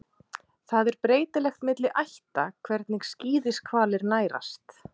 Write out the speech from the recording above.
Það er breytilegt milli ætta hvernig skíðishvalir nærast.